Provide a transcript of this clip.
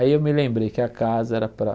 Aí eu me lembrei que a casa era para...